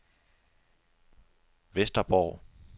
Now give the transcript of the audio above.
Vesterborg